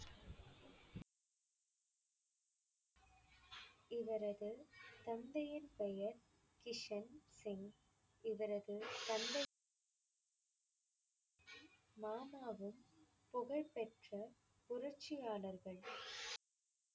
இவரது தந்தையின் பெயர் கிஷன் சிங். இவரது தந்தை மாமாவும் புகழ்பெற்ற புரட்சியாளர்கள்